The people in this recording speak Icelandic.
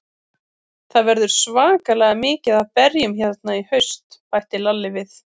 Það verður svakalega mikið af berjum hérna í haust, bætti Lalli við.